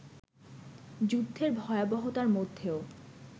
যুদ্ধের ভয়াবহতার মধ্যেও